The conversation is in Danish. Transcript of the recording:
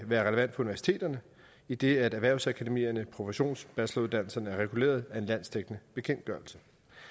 være relevant for universiteterne idet erhvervsakademierne og professionsbacheloruddannelserne er reguleret af en landsdækkende bekendtgørelse